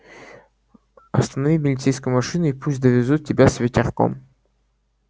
останови милицейскую машину и пусть довезут тебя с ветерком